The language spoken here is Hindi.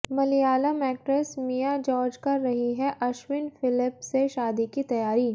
मलयालम एक्ट्रेस मिया जॉर्ज कर रही हैं अश्विन फिलिप से शादी की तैयारी